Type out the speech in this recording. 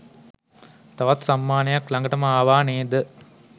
තවත් සම්මානයක් ළඟටම අවා නේද?